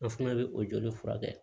An fana bɛ o joli furakɛ